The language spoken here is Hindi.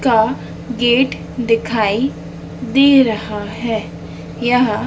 का गेट दिखाई दे रहा है यहां--